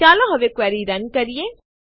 ચાલો હવે ક્વેરીને રન કરીએ